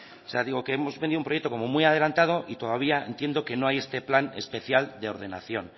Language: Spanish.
o sea digo que hemos vendido un proyecto como muy adelantado y todavía entiendo que no hay este plan especial de ordenación